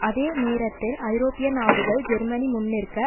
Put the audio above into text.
அதே நேரத்தில் ஐரோப்பிய நாடுகள் ஜெர்மனி முன்னிற்க